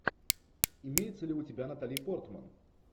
имеется ли у тебя натали портман